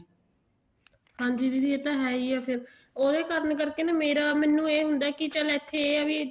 ਹਾਂਜੀ ਦੀਦੀ ਇਹ ਤਾਂ ਹੈ ਹੀ ਹੈ ਫ਼ੇਰ ਉਹਦੇ ਕਾਰਨ ਕਰਕੇ ਨਾ ਮੇਰਾ ਮੈਨੂੰ ਇਹ ਹੁੰਦਾ ਕੀ ਚੱਲ ਇੱਥੇ ਆ ਹੈ ਵੀ